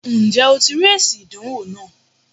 Ǹ jé o ti rí èsì ìdánwò náà